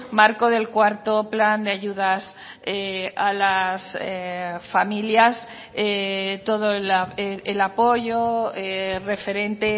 marco del cuarto plan de ayudas a las familias todo el apoyo referente